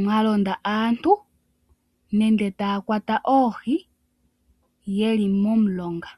mwa londa aantu nenge taya kwata oohi yeli momulonga.